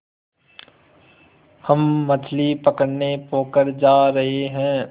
हम मछली पकड़ने पोखर जा रहें हैं